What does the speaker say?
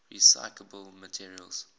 recyclable materials